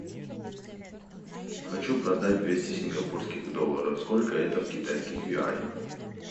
хочу продать двести сингапурских долларов сколько это в китайских юанях